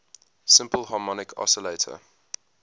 simple harmonic oscillator